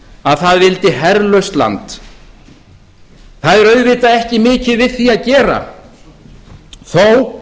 að það vildi herlaust land það er auðvitað ekki mikið við því að gera þó